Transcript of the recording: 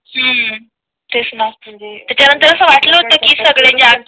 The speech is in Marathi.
हम्म तेच ना त्याच्या नंतर असं वाटलं होत सगळे जाण